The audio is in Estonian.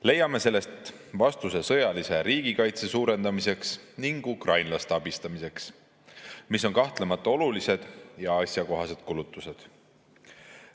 Leiame sellest vastuse sõjalise riigikaitse suurendamiseks ning ukrainlaste abistamiseks, mis on kahtlemata olulised ja asjakohased kulutused.